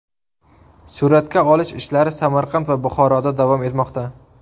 Suratga olish ishlari Samarqand va Buxoroda davom etmoqda.